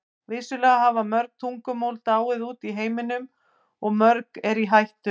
Vissulega hafa mörg tungumál dáið út í heiminum og mörg eru í hættu.